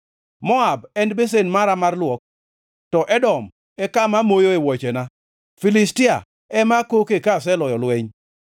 Moab en besen mara mar luok, to Edom e kama amoe wuochena; Filistia ema akoke ka aseloyo lweny.”